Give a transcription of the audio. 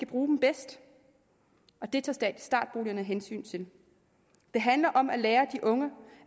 bruge dem bedst og det tager startboligerne hensyn til det handler om at lære de unge